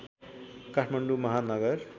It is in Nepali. काठमाडौँ महानगर